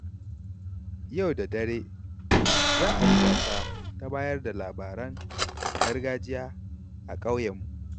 Yau da dare, za a yi gasa ta bayar da labaran gargajiya a ƙauyenmu.